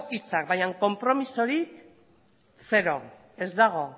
hitzak baina konpromezua zero ez dago